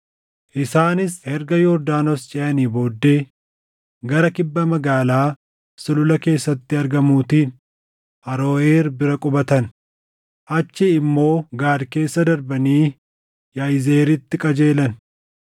Isaanis erga Yordaanos ceʼanii booddee gara kibba magaalaa sulula keessatti argamuutiin Aroʼeer bira qubatan; achii immoo Gaad keessa darbanii Yaʼizeeritti qajeelan.